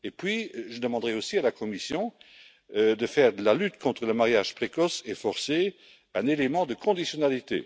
Puis, je demanderai aussi à la Commission de faire de la lutte contre les mariages précoces et forcés un élément de conditionnalité.